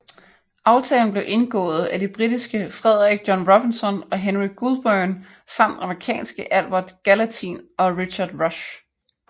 Aftalen blev indgået af de britiske Frederick John Robinson og Henry Goulburn samt amerikanske Albert Gallatin og Richard Rush